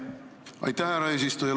Aitäh, härra eesistuja!